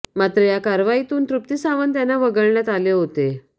मात्र या कारवाईतून तृप्ती सावंत यांना वगळण्यात आले होते